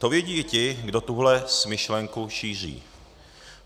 To vědí i ti, kdo tuhle smyšlenku šíří.